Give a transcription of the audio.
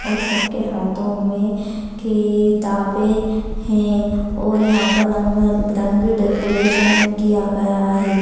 और सबके हाथों में किताबें हैं और यहां पर रंग बिरंगे डेकोरेशन किया गया है।